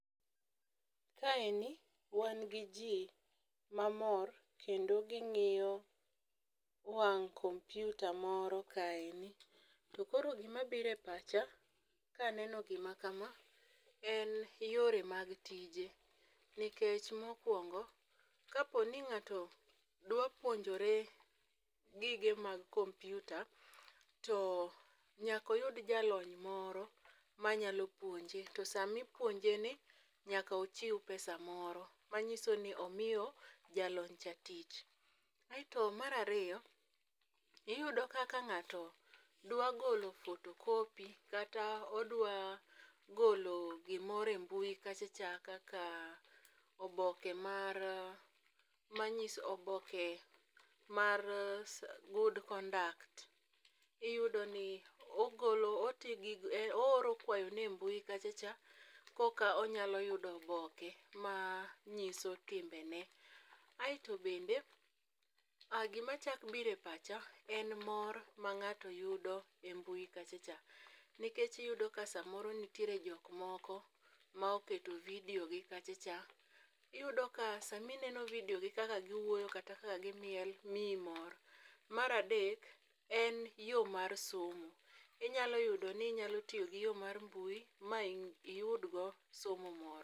Kaeni wan gi jii mamor kendo ging'iyo wang' komputa moro kaeni. To koro gima bire pacha kaneno gima kama en yore mag tije nikech mokwongo kapo ni ng'ato dwa puonjore gige mag kompiuta to nyako yud jalony moro manyalo puonje. To sami puonje ni nyako ochiw pesa moro manyiso ni omiyo jalony cha tich. Aeto mar ariyo iyudo kaka ng'ato dwa golo photocopy kata odwa golo gimore mbui kacha cha kaka oboke mar manyiso oboke mar s good conduct, iyudo ni ogolo oti gi ooro kwayone e mbui kacha cha koka onyalo yudo oboke ma nyiso timbe ne. Aeto bende gima chak bire pacha en moro ma ng'ato yudo e mbui kacha cha nikech iyudo ka samoro nitiere jok moko moketo vidio gi kacha cha iyudo ka sami neno vidio gi kaka giwuoyo kata ka gimiel miyi mor. Mar adek en yo mar somo inyalo yudo ni inyalo tiyo gi yoo mar mbui ma iyud go somo moro.